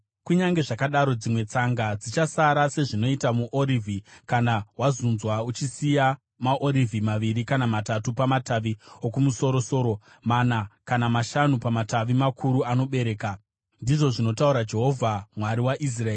Kunyange zvakadaro dzimwe tsanga dzichasara, sezvinoita muorivhi kana wazunzwa, uchisiya maorivhi maviri kana matatu pamatavi okumusoro-soro, mana kana mashanu pamatavi makuru anobereka,” ndizvo zvinotaura Jehovha Mwari waIsraeri.